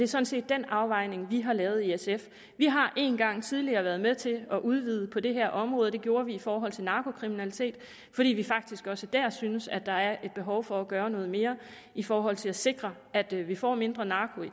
sådan set den afvejning vi har lavet i sf vi har en gang tidligere været med til at udvide det her område det gjorde vi i forhold til narkokriminalitet fordi vi faktisk også der synes at der er et behov for at gøre noget mere i forhold til at sikre at vi får mindre narko